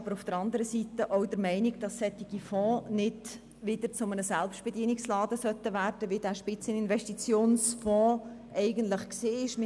Die glp ist aber der Meinung, dass solche Fonds nicht wieder zu einem Selbstbedienungsladen werden sollen, wie das beim Fonds zur Deckung von Investitionsspitzen der Fall war.